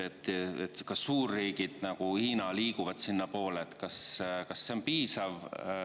Kas see, et suurriigid, nagu Hiina, liiguvad sinnapoole, on piisav või mitte?